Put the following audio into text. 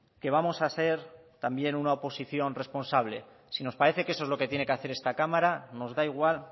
que vamos a ser también una oposición responsable si nos parece que eso es lo que tiene que hacer esta cámara nos da igual